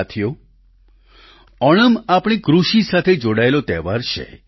સાથીઓ ઓણમ આપણી કૃષિ સાથે જોડાયેલો તહેવાર છે